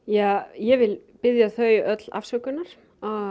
ég ég vil biðja þau öll afsökunar